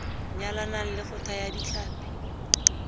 nyalanang le go thaya ditlhapi